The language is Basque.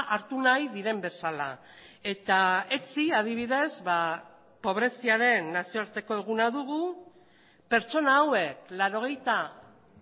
hartu nahi diren bezala eta etzi adibidez ba pobreziaren nazioarteko eguna dugu pertsona hauek laurogeita